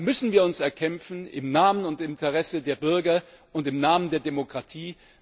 Das müssen wir uns erkämpfen im Namen und Interesse der Bürger und im Namen der Demokratie.